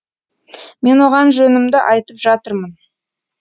мен оған жөнімді айтып жатырмын